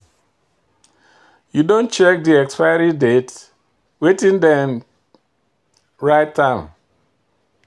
You don check de expiry date, wetin them write am?